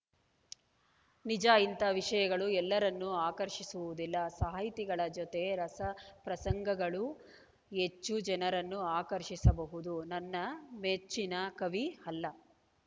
ನಿಜ ಇಂಥ ವಿಷಯಗಳು ಎಲ್ಲರನ್ನೂ ಆಕರ್ಷಿಸುವುದಿಲ್ಲ ಸಾಹಿತಿಗಳ ಜತೆ ರಸಪ್ರಸಂಗಗಳು ಹೆಚ್ಚು ಜನರನ್ನು ಆಕರ್ಷಿಸಬಹುದು ನನ್ನ ಮೆಚ್ಚಿನ ಕವಿ ಅಲ್ಲ